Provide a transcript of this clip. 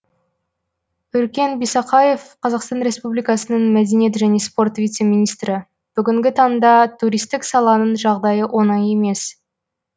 өркен бисақаев қазақстан республикасының мәдениет және спорт вице министрі бүгінгі таңда туристік саланың жағдайы оңай емес